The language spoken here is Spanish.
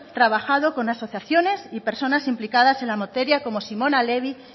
trabajo con asociaciones y personas implicadas en la materia como simona levi